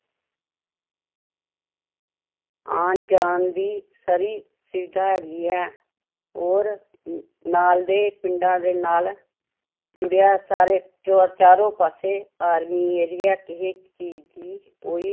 ਆਉਣ ਜਾਣ ਦੀ free ਸੁਵਿਧਾ ਵੀ ਹੈ, ਹੋਰ ਨਾਲ ਦੇ ਪਿੰਡਾਂ ਦੇ ਨਾਲ ਜੁੜਿਆ ਸਾਰੇ ਚੋਰ ਚਾਰੋ ਪਾਸੇ army area ਕਿਸੇ ਚੀਜ਼ ਦੀ ਕੋਈ